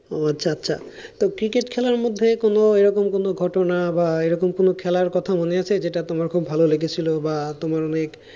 ও আচ্ছা আচ্ছা তো cricket খেলার মধ্যে কোন এরকম কোন ঘটনা বা এরকম কোন খেলার কথা মনে আছে যেটা তোমার খুব ভালো লেগেছিলো বা তোমার অনেক,